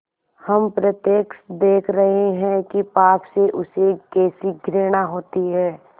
हम प्रत्यक्ष देख रहे हैं कि पाप से उसे कैसी घृणा होती है